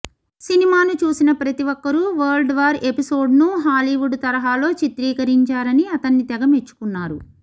సినిమాను చూసిన ప్రతి ఒక్కరూ వరల్డ్వార్ ఎపిసోడ్స్ను హాలీవుడ్ తరహాలో చిత్రీకరించారని అతన్ని తెగ మెచ్చుకున్నారు